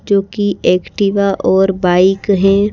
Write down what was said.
जो कि एक्टिवा और बाइक हैं।